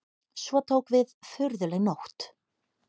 Svo tók við furðuleg nótt.